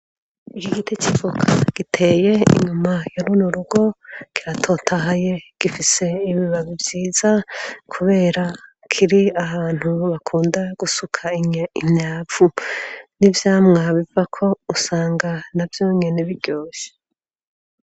Iki giti c'ivoka giteye inyuma ya rino rugo kiratotahaye, gifise ibibabi vyiza kubera kiri abantu bakunda gusuka imyavu, n'ivyamwa bivako usanga navyo nyene biryoshe.